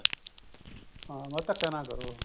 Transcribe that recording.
ਹਾਂ ਬਸ ਧੱਕਾ ਨਾ ਕਰੋ